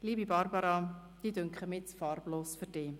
Liebe Barbara, sie dünken mich zu farblos für dich.